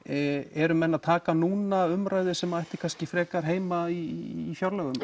eru menn að taka núna umræðu sem ætti kannski frekar heima í fjárlögum